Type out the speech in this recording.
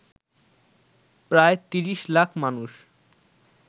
প্রায় ৩০ লাখ মানুষ